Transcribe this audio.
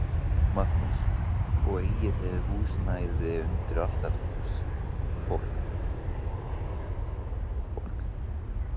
Magnús: Og eigið þið húsnæði undir allt þetta fólk?